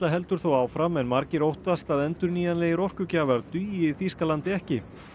heldur þó áfram en margir óttast að endurnýjanlegir orkugjafar dugi Þýskalandi ekki